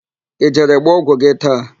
Ị jere gba ọgwụ gị taa?